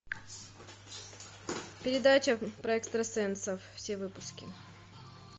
передача про экстрасенсов все выпуски